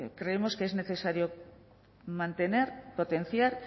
creemos que es necesario mantener potenciar